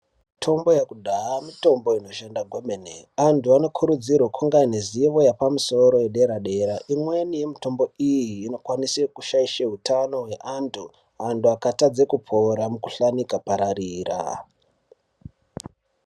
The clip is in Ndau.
Mitombo yekudhaya mitombo Inoshanda kwemene. Antu anokurudzirwa kunga ane zivo yepamusoro yedera-dera. Imweni yemitombo iyi inokwanise kushaishe hutano hweantu ,antu akatadze kupora mikhuhlani ikapararira.